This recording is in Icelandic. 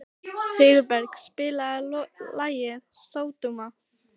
Sigurberg, spilaðu lagið „Sódóma“.